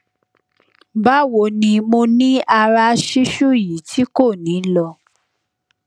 bawo ni mo niara sisu yi ti ko ni lọ